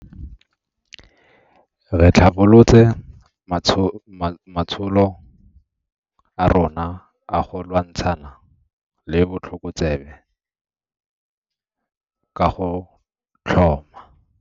Re tlhabolotse matsholo a rona a go lwantshana le botlhokotsebe ka go tlhoma.